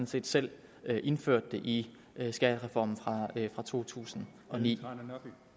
set selv indført det i skattereformen fra totusinde og niende